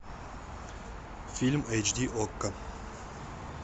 фильм эйч ди окко